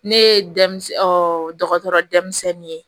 Ne ye denmisɛnnin dɔgɔtɔrɔ denmisɛnnin ye